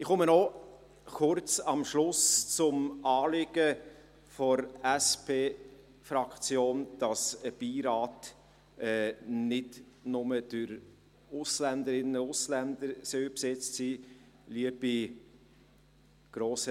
Ich komme am Schluss noch kurz auf das Anliegen der SP-Fraktion zu sprechen, dass ein Beirat nicht nur durch Ausländerinnen und Ausländer besetzt sein soll.